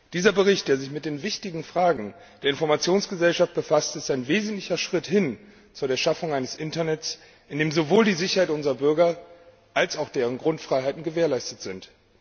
Dieser Bericht, der sich mit den wichtigen Fragen der Informationsgesellschaft befasst, ist ein wesentlicher Schritt hin zur Schaffung eines Internets, in dem sowohl die Sicherheit unserer Bürger als auch deren Grundfreiheiten gewährleistet sind.